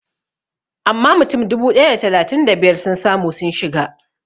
Amma mutum dubu ɗaya da talatin da biyar sun samu sun shiga